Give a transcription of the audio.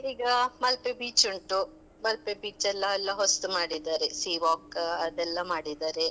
ಈಗ ಮಲ್ಪೆ beach ಉಂಟು. Malpe beach ಎಲ್ಲ ಎಲ್ಲ ಹೊಸ್ತು ಮಾಡಿದ್ದಾರೆ. sea walk ಅದೆಲ್ಲ ಮಾಡಿದ್ದಾರೆ.